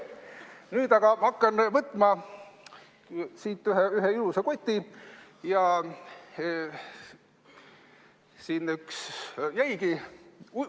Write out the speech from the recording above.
Nüüd ma hakkan võtma siit, võtan ühe ilusa koti ja siia üks jäigi.